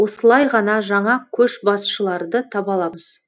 осылай ғана жаңа көшбасшыларды таба аламыз